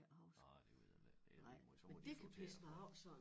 Nej det ved jeg ikke det lige måj så må de sortere det fra